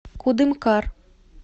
кудымкар